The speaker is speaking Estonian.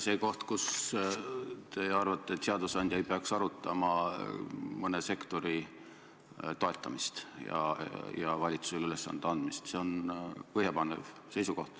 See, kui te arvasite, et seadusandja ei peaks arutama mõne sektori toetamist ja valitsusele ülesande andmist, oli põhjapanev seisukoht.